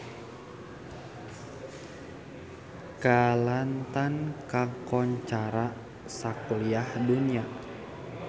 Kelantan kakoncara sakuliah dunya